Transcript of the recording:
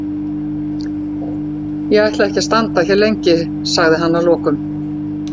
Ég ætla ekki að standa hér lengi, sagði hann að lokum.